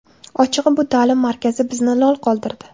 Ochig‘i, bu ta’lim markazi bizni lol qoldirdi.